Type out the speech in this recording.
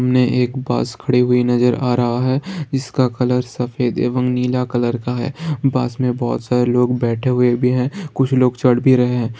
सामने एक बस खड़ी हुई नजर आ रहा है जिसका कलर सफेद एवम नीला कलर का है | बस में बहुत सारे लोग बैठे हुए भी है कुछ लोग चढ़ भी रहे हैं।